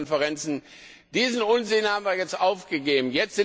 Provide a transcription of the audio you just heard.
Diesen Unsinn haben wir jetzt aufgegeben.